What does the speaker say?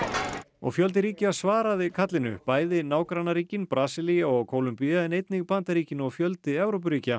og fjöldi ríkja svaraði kallinu bæði nágrannaríkin Brasilía og Kólumbía en einnig Bandaríkin og fjöldi Evrópuríkja